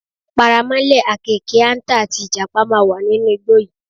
Paramọ́lẹ̀, àkééke, àǹtà, àti Ìjàpá máa wà nínú igbó yìí.